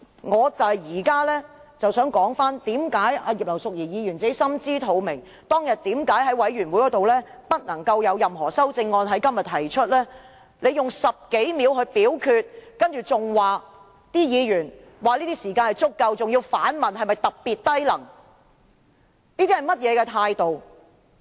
我只想說，葉劉淑儀議員心知肚明，當日為何在法案委員會會議上表明不能在今天提出任何修正案，因為她用10多秒來進行表決，還說議員已有足夠時間，更反問議員是否特別低能，這算是甚麼態度？